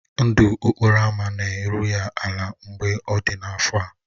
Ndụ okporo ámá na-eru ya ala mgbe ọ dị afọ a.